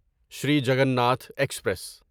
Sri Jagannath express